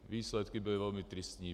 Výsledky byly velmi tristní.